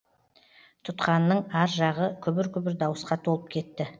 тұтқанның ар жағы күбір күбір дауысқа толып кетті